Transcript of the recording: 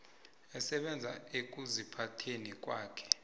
esebenza ekuziphatheni kwakhe